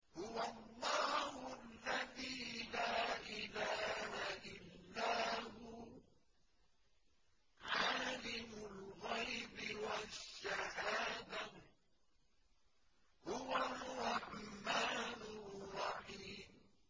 هُوَ اللَّهُ الَّذِي لَا إِلَٰهَ إِلَّا هُوَ ۖ عَالِمُ الْغَيْبِ وَالشَّهَادَةِ ۖ هُوَ الرَّحْمَٰنُ الرَّحِيمُ